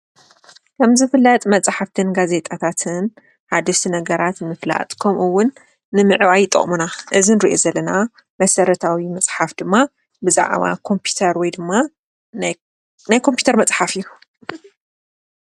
ከምዝፍለጥ መፅሓፍቲን ጋዜጣታትን ነገራትን ንፍላጥ ከምኡ እውን ንምዕባይ ይጠቁሙና። እዚ እንሪኦ ዘለና መሰረታዊ መፅሓፍ ብዛዕባ ኮምፒተር ወይ ድማ ናይ ኮምፒተር መፅሓፍ እዩ።